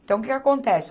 Então, o que acontece?